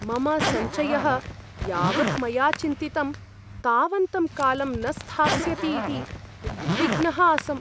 मम सञ्चयः यावत् मया चिन्तितं तावन्तं कालं न स्थास्यति इति उद्विग्नः आसम्।